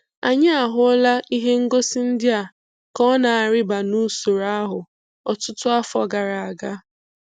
Anyị ahụla ihe ngosi ndị a ka ọ na-arịba n'usoro ahụ ọtụtụ afọ gara aga.